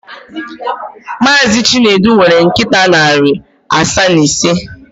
Mazị Chinedu nwere nkịta narị asaa na ise.